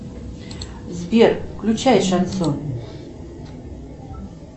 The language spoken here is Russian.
сбер включай шансон